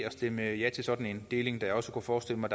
og stemme ja til sådan en deling da jeg også kunne forestille mig